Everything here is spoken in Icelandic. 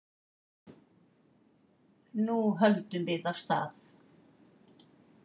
Nú höldum við af stað